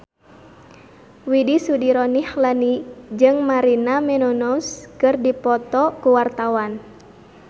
Widy Soediro Nichlany jeung Maria Menounos keur dipoto ku wartawan